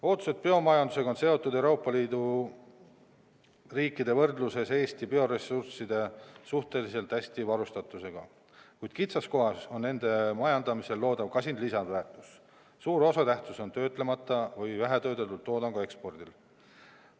Ootused biomajandusele on seotud Euroopa Liidu riikide võrdluses Eesti suhteliselt hea varustatusega bioressursside osas, kuid kitsaskohaks on nende majandamisel loodav kasin lisandväärtus: töötlemata või vähetöödeldud toodangu ekspordi osakaal on suur.